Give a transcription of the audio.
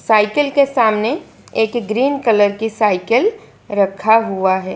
Cycle के सामने एक ग्रीन कलर की साइकिल रखा हुआ है।